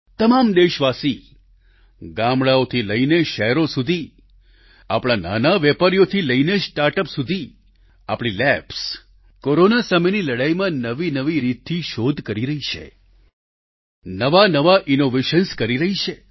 તમામ દેશવાસી ગામડાંઓથી લઈને શહેરો સુધી આપણા નાના વેપારીઓથી લઈને સ્ટાર્ટઅપ સુધી આપણી લેબ્સ કોરોના સામેની લડાઈમાં નવીનવી રીતથી શોધ કરી રહી છે નવાનવા ઈનોવેશન્સ કરી રહી છે